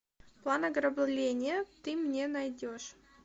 план ограбления ты мне найдешь